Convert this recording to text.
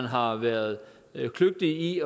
har været kløgtig